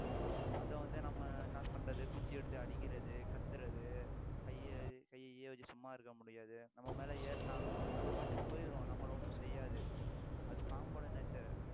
அதை வந்து நம்ம என்ன பண்றது குச்சி எடுத்து அடிக்கிறது, கத்தறது, கையை கையை வச்சு சும்மா இருக்க முடியாது நம்ம மேலே ஏறினாலும் அது பாட்டுக்கு போயிரும் நம்மளை ஒண்ணும் செய்யாது அது பாம்போட nature